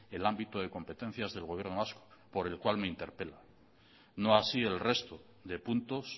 el ámbito de competencias del gobierno vasco por el cual me interpela no así el resto de puntos